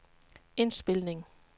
indspilning